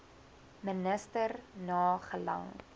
minister na gelang